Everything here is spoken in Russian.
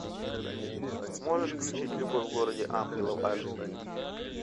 можешь включить любовь в городе ангелов аш ди